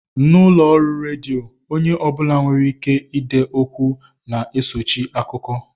N'ụlọọrụ redio, onye ọ bụla nwereike ide okwu na-esochi akụkọ